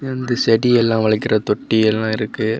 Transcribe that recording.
இங்க வந்து செடி எல்லா வளர்க்கற தொட்டி எல்லா இருக்கு.